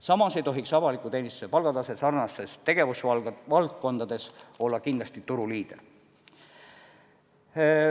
Samas ei tohiks avaliku teenistuse palgatase sarnastes tegevusvaldkondades kindlasti olla turuliider.